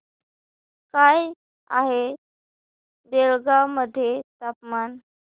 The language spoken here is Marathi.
काय आहे बेळगाव मध्ये तापमान